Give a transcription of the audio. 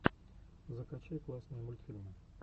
закачай классные мультфильмы